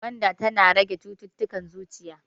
Gwanda tana rage cittutukan zuciya.